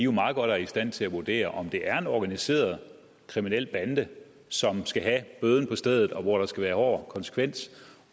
meget godt er i stand til at vurdere om det er en organiseret kriminel bande som skal have bøden på stedet og hvor der skal være hård konsekvens